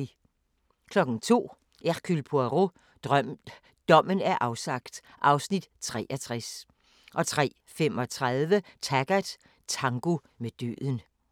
02:00: Hercule Poirot: Dommen er afsagt (Afs. 63) 03:35: Taggart: Tango med døden